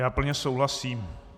Já plně souhlasím.